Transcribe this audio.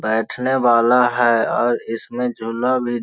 बैठने वाला है और इसमें झूला भी --